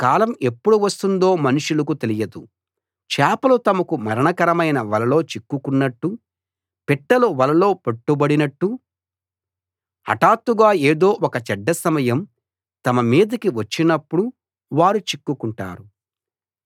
తమకాలం ఎప్పుడు వస్తుందో మనుషులకు తెలియదు చేపలు తమకు మరణకరమైన వలలో చిక్కుకున్నట్టు పిట్టలు వలలో పట్టుబడినట్టు హఠాత్తుగా ఏదో ఒక చెడ్డ సమయం తమ మీదికి వచ్చినప్పుడు వారు చిక్కుకుంటారు